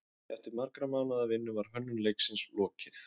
Eftir margra mánaða vinnu var hönnun leiksins lokið.